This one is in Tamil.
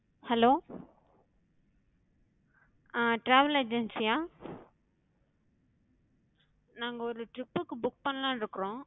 hello, அஹ் travel agency யா? நாங்க ஒரு trip க்கு book பண்ணலான்னு இருக்கோம்.